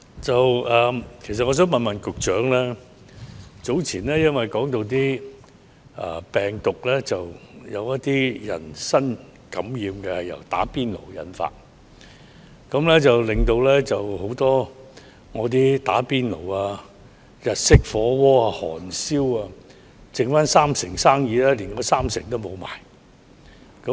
主席，早前因有人指"打邊爐"引致某些人感染病毒，以致很多只剩三成生意的"打邊爐"、日式火鍋、韓燒等食肆連那三成生意也沒有。